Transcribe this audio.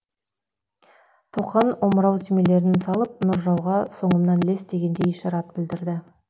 тоқан омырау түймелерін салып нұржауға соңымнан ілес дегендей ишарат білдірді